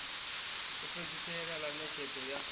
u fhedzisela ḽa ṋetshedzo ya